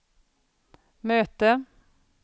möte